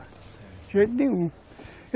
De jeito nenhum.